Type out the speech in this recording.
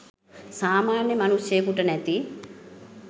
සාමාන්‍ය මනුෂ්යයෙකුට නැති